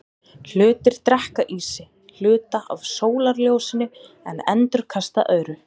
Hlutir drekka í sig hluta af sólarljósinu en endurkasta öðru.